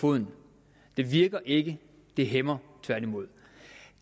foden det virker ikke det hæmmer tværtimod